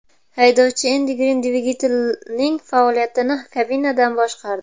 Haydovchi Endi Grin dvigatelning faoliyatini kabinadan boshqardi.